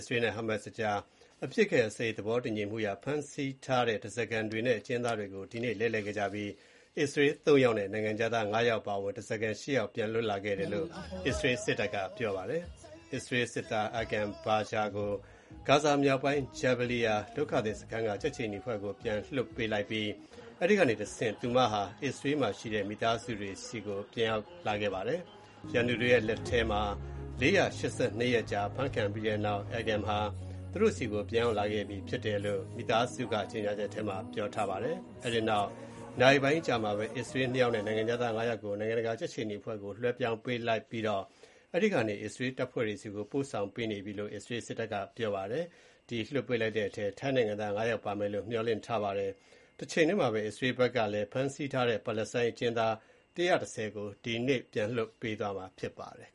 စရေးနဲ့ဟာမတ်စ်ကြား အပစ်အခတ်ရပ်စဲရေးသဘောတူညီမှုအရ ဖမ်းဆီးထားတဲ့ဓါးစာခံတွေနဲ့ အကျဉ်းသားတွေကို တတိယအကြိမ် ဒီနေ့ လဲလှယ်ခဲ့ကြပြီး အစ္စရေး ၃ ယောက်နဲ့ နိုင်ငံခြားသား ၅ ယောက်အပါအဝင် ဓါးစာခံ ၈ ယောက် ပြန်လည် လွတ်မြောက်လာခဲ့တယ်လို့ အစ္စရေးစစ်တပ်က ပြောပါတယ်။ အစ္စရေးစစ်သား Agam Berger ကို ဂါဇာမြောက်ပိုင်း Jabaliya ဒုက္ခသည်စခန်းက ကြက်ခြေနီအဖွဲ့ဆီ ပြန်လွှတ်ပေးလိုက်ပြီး အဲဒီကနေတဆင့် အစ္စရေးမှာရှိတဲ့ မိသားစုတွေဆီကို ပြန်ရောက်လာခဲ့ပါတယ်။ ရန်သူတွေရဲ့လက်ထက်မှာ ၄၈၂ ရက်ကြာ ဖမ်းခံရပြီးတဲ့နောက် Agam ဟာ သူတို့ဆီကို ပြန်ရောက်လာခဲ့ ပြီလို့ သူ့မိသားစုက ကြေညာချက်ထဲမှာ ပြောထားပါတယ်။ အဲဒီနောက် နာရီပိုင်းအကြာမှာပဲ အစ္စရေး ၂ ယောက်နဲ့ နိုင်ငံခြားသား ၅ ယောက်ကို နိုင်ငံတကာ ကြက်ခြေနီအဖွဲ့ဆီ လွှဲပြောင်းပေးလိုက်ပြီးတော့ အဲဒီကနေ အစ္စရေးတပ်ဖွဲ့တွေဆီကို ပို့ဆောင်ပေးနေပြီ လို့ အစ္စရေးစစ်တပ်က ပြောပါတယ်။ ဒီနေ့ လွှတ်ပေးလိုက်တဲ့အထဲမှာ ထိုင်းနိုင်ငံသား ၅ ယောက် ပါမယ်လို့ ခန့်မှန်းနေကြပါတယ်။ တချိန်တည်းမှာပဲ အစ္စရေးဘက်ကလည်း ဖမ်းဆီးထားတဲ့ပါလက်စတိုင်း အကျဉ်းသား ၁၁၀ ကို ဒီနေ့ လွှတ်ပေးသွားရမှာ ဖြစ်ပါတယ်။